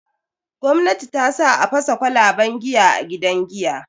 Gwamnati tasa a fasa kwalaban giya a gidan giya.